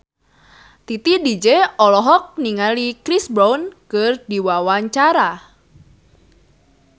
Titi DJ olohok ningali Chris Brown keur diwawancara